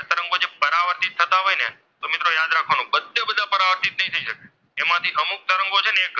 એમાંથી અમુક તરંગો છે ને!